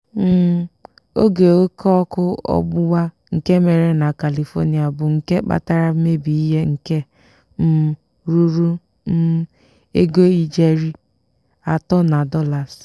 um oge óké ọ́kụ́ ọgbụgba nke mere na kalifonia bụ nke kpatara mmebi ihe nke um ruru um ego ijeri atọ na dolas.